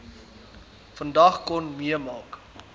vandag kon meemaak